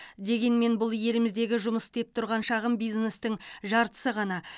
дегенмен бұл еліміздегі жұмыс істеп тұрған шағын бизнестің жартысы ғана